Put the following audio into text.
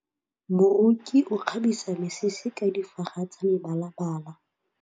Moroki o kgabisa mesese ka difaga tsa mebalabala.